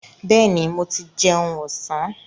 Bẹ́ẹ̀ni, mo ti jẹun ọ̀sán.